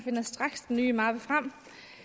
finder straks den nye mappe frem